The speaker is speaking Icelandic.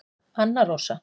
Anna Rósa